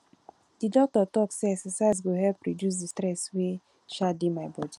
di doctor tok sey exercise go help reduce di stress wey um dey my bodi